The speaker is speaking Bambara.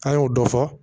An y'o dɔ fɔ